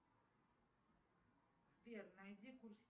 сбер найди курс